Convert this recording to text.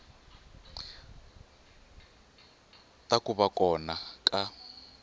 ta ku va kona ka